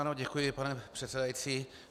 Ano, děkuji, pane předsedající.